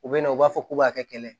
U bɛ na u b'a fɔ k'u b'a kɛ kɛlɛ ye